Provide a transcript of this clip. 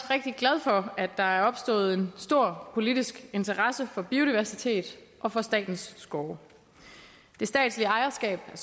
rigtig glad for at der er opstået en stor politisk interesse for biodiversitet og for statens skove det statslige ejerskab af